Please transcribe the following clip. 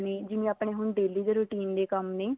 ਨੇ ਜਿਵੇਂ ਆਪਣੇ ਹੁਣ ਦਿਲ ਦੇ routine ਦੇ ਕੰਮ ਨੇ